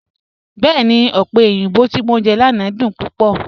Bẹẹ̀ni, ọpẹ̀ oyinbọ̀ ti mọ̀ jẹ lánà dún púpọ̀.